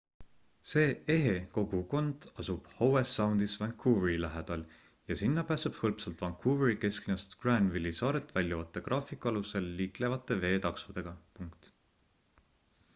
see ehe kogukond asub howe soundis vancouveri lähedal ja sinna pääseb hõlpsalt vancouveri kesklinnast granville'i saarelt väljuvate graafiku alusel liiklevate veetaksodega